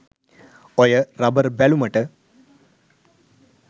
ඔය රබර් බැලුමට